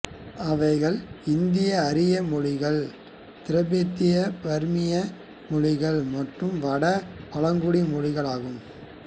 அவைகள்இந்தியஆரிய மொழிகள் திபெத்தியபர்மிய மொழிகள் மற்றும் வட்டார பழங்குடி மொழிகள் ஆகும்